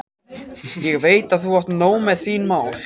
Ég veit að þú átt nóg með þín mál.